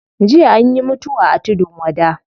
Jiya anyi mutuwa a tudun wada